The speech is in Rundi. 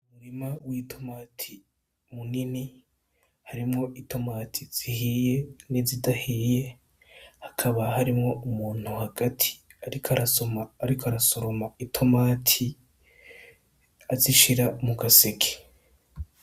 Umurima w'itomati munini harimwo itomati zihiye n'izidahiye, hakaba harimwo umuntu hagati ariko arasoroma itomati, azishira mu gaseke.